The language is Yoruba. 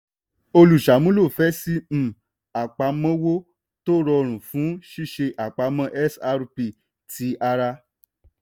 olùṣàmúlò fẹ́ ṣí um àpamọ́wọ́ tó rọrùn fún ṣíṣe àpamọ́ xrp ti ara.